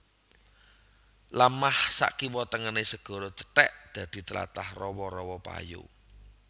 Lemah sakiwa tengené segara cethèk dadi tlatah rawa rawa payo